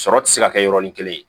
Sɔrɔ ti se ka kɛ yɔrɔnin kelen ye